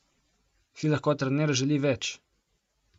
Si lahko trener želi več?